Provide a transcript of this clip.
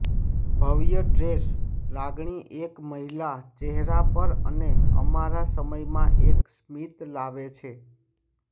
ભવ્ય ડ્રેસ લાગણી એક મહિલા ચહેરા પર અને અમારા સમય માં એક સ્મિત લાવે છે